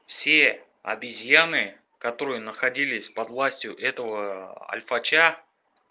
все обезьяны которые находились под властью этого альфача